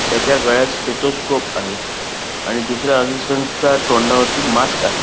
त्याच्या गळ्यात स्टेथोस्कोप आहे आणि दुसऱ्या असिस्टंट च्या तोंडावरती मास्क आहे.